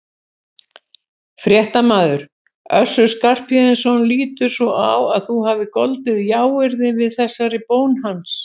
Fréttamaður: Össur Skarphéðinsson lítur svo á að þú hafir goldið jáyrði við þessari bón hans?